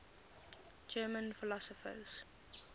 german philosophers